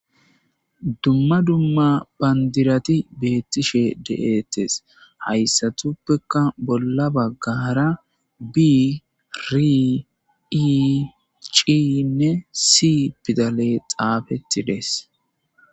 dumma dumma banddirati betishe de7etes hayssati qasse bolla bagara bi ri e giza pidaaleyxaafetides